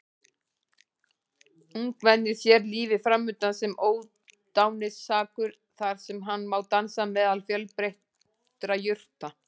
Ungmennið sér lífið framundan sem ódáinsakur þar sem hann má dansa meðal fjölbreyttra jurta.